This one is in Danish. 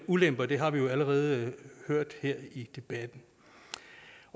ulemper det har vi jo allerede hørt her i debatten